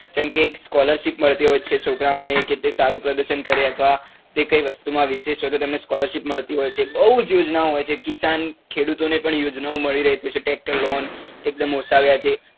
જેમ કે scholarship મળતી હોય છે જે છોકરા ઓ ને કે તે સારું પ્રદર્શન કરે અથવા તે તે કઈ વસ્તુ માં વિશેષ હોય તો scholarship મળતી હોય છે બઉ જ યોજના ઓ હોય છે કિશાન ખેડૂતો ને પણ યોજના ઓ મળી રહી છે tractor loan એક દમ ઓછા વ્યાજે